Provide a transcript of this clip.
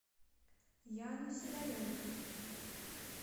яну сидоренко